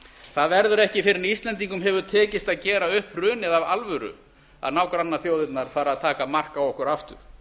það verður ekki fyrr en íslendingum hefur tekist að gera upp hrunið af alvöru að nágrannaþjóðirnar fara að taka mark á okkur aftur